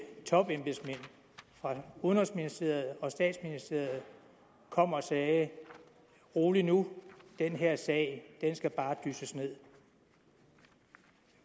topembedsmænd fra udenrigsministeriet og statsministeriet kom og sagde rolig nu den her sag skal bare dysses nederst